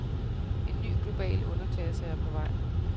En ny global underklasse er på vej.